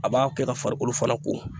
A b'a kɛ ka farikolo fana ko